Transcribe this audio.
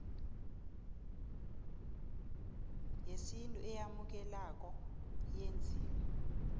yesintu eyamukelekako eyenziwe